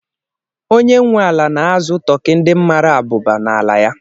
Onye nwe ala na-azụ tọkị ndị mara abụba n'ala ya.